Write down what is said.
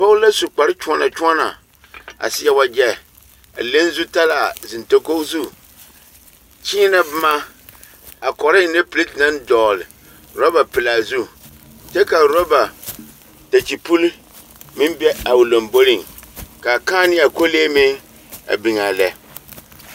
Dͻͻ la su kpare kyõͻnͻ kyõͻnͻ a seԑ wagyԑ a leŋ zutaraa a zeŋ dakogi zu, kyeenԑ boma a kͻrͻ ennԑ perԑte naŋ dͻgele orͻba pelaa zu kyԑ ka orͻba dakye puli meŋ be a o lomboriŋ kaa kãã nea a kolee meŋ a biŋ a lԑ.